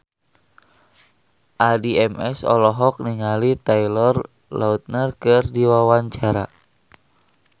Addie MS olohok ningali Taylor Lautner keur diwawancara